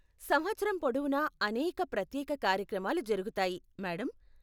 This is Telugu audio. సంవత్సరం పొడవునా అనేక ప్రత్యేక కార్యక్రమాలు జరుగుతాయి, మేడమ్.